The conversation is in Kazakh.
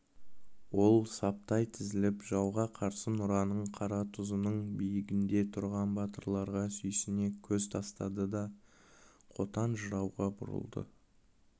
ол саптай тізіліп жауға қарсы нұраның қаратұзының биігінде тұрған батырларға сүйсіне көз тастады да қотан жырауға бұрылды